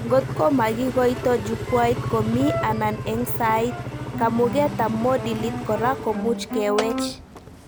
Ngot ko makikoito Jukwait komi anan eng sait, kamugetab modilit kora komuch kewech